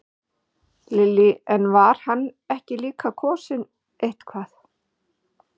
Lillý: En var hann ekki líka kosinn eitthvað?